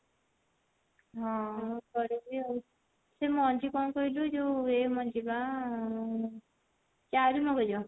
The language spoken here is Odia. ହଁ କରିବି ଆଉ ସେ ମଞ୍ଜି କଣ କହିଲୁ ଯଉ ଏ ମଞ୍ଜି ବା ଚାରୁ ମଗଜ